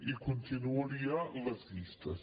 i continuaria les llistes